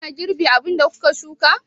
Kuna girbi abin da kuka shuka?